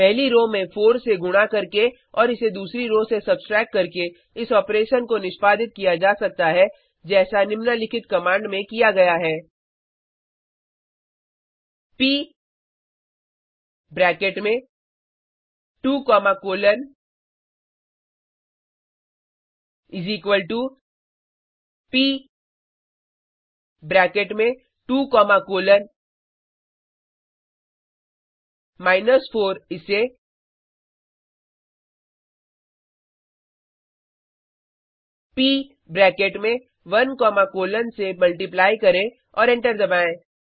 पहली रो में 4 से गुणा करके और इसे दूसरी रो से सब्ट्रैक्ट करके इस ऑपरेशन को निष्पादित किया जा सकता है जैसा निम्नलिखित कमांड में किया गया है प ब्रैकेट में 2 comma colon is equal to प ब्रैकेट में 2 कॉमा कोलन माइनस 4 इसे प ब्रैकेट में 1 कॉमा कोलन से मल्टिप्लाई करें और एंटर दबाएँ